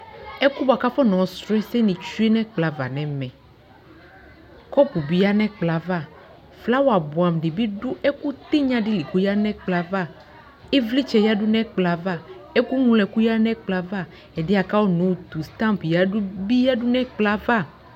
Ɛkʋ bʋa kʋ afɔna yɔ srɔ ɛsɛ nι tsyuenʋ ɛkplɔ ava nʋɛmɛKɔpʋ bι ya nʋ ɛkplɔ yɛ ava, flawa bʋɛamʋ dι bι dʋ ɛkʋ tιnya dι li kʋ oya nʋ ɛkplɔ yɛ ava ιvlιtsɛ yadu nʋ ɛkplɔ yɛ ava, ɛkʋ ŋlo ɛkʋ yadu nʋ ɛkplɔ yɛ ava, ɛdιyɛ bʋa kʋ akona yɔ tu stamp yadu bι yadu nʋ ɛkplɔ yɛ ava